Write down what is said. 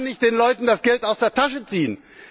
Man kann nicht den Leuten das Geld aus der Tasche ziehen!